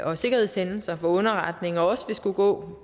og sikkerhedshændelser hvor underretninger også vil skulle gå